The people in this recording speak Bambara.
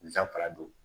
Zanfara don